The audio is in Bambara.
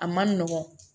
A man nɔgɔn